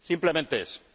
Simplemente eso.